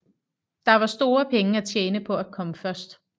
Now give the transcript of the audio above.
Der var store penge at tjene på at komme først